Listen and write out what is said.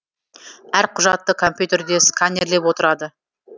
әр құжатты компьютерде сканерлеп отырады